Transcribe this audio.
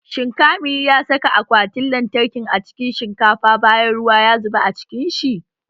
Shin kamil ya saka akwatin lantarkin a cikin shinkafa bayan ruwa ya zuba a cikin shi?